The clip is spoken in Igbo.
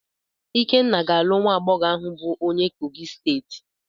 Ikenna ga-alụ nwa agbọghọ ahụ bụ onye Kogi steeti.